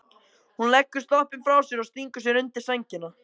Hún leggur sloppinn frá sér og stingur sér undir sængina.